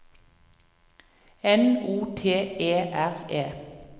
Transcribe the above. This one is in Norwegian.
N O T E R E